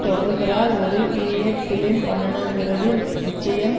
தொடர்கிறார் ஒரு period film பண்ணணும்கிறது நிச்சயம்